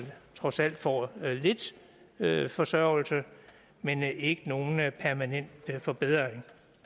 trods alt får lidt forsørgelse men ikke nogen permanent forbedring